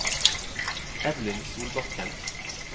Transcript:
Evelyn Solbakken